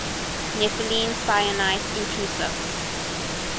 nepheline syenite intrusives